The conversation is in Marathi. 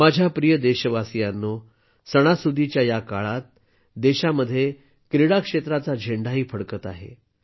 माझ्या प्रिय देशबांधवांनो सणासुदीच्या या काळात देशात क्रीडा क्षेत्राचा झेंडाही फडकत आहे